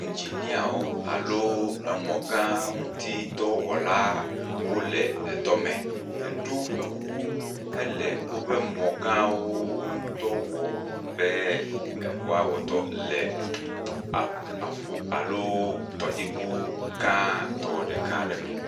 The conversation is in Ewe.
Ŋginiawo alo mɔ gã ŋutidɔwɔla wole dɔme, heɖo woƒe kuku hele woƒe mɔ gãwo ŋu dɔ wɔm be woawɔ dɔ le a ƒu alo tɔdziŋu gãtɔ ɖeka aɖe me.